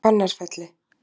Fannarfelli